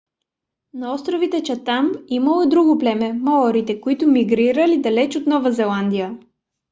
на островите чатам имало и друго племе - маорите които мигрирали далеч от нова зеландия